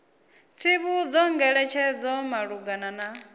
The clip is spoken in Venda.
tsivhudzo ngeletshedzo malugana na u